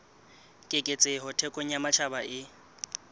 keketseho thekong ya matjhaba e